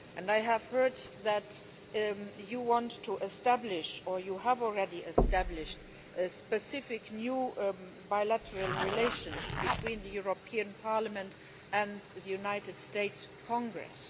I have heard that you want to establish, or you have already established, specific new bilateral relations between Parliament and the United States Congress.